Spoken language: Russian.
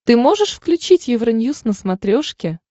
ты можешь включить евроньюз на смотрешке